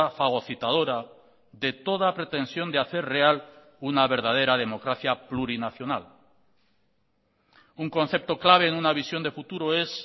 fagocitadora de toda pretensión de hacer real una verdadera democracia plurinacional un concepto clave en una visión de futuro es